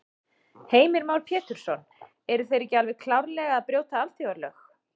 Heimir Már Pétursson: Eru þeir ekki alveg klárlega að brjóta alþjóðalög?